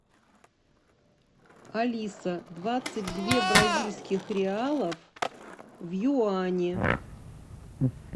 алиса двадцать две бразильских реалов в юани